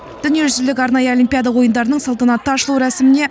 дүниежүзілік арнайы олимпиада ойындарының салтанатты ашылу рәсіміне